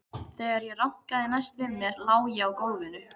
Þegar ég rankaði næst við mér lá ég á gólfinu.